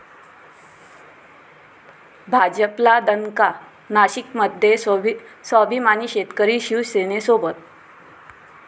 भाजपला दणका, नाशिकमध्ये 'स्वाभिमानी शेतकरी' शिवसेनेसोबत